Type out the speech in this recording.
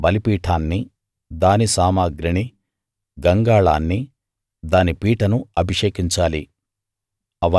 హోమ బలిపీఠాన్ని దాని సామగ్రిని గంగాళాన్ని దాని పీటను అభిషేకించాలి